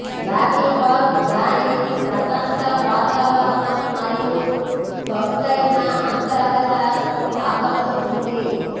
lobby bar దాని ప్రశాంత వాతావరణం మరియు సొగసైన అంతర్గత ఆకట్టుకుంది